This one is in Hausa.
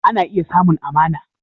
Ana iya samun amana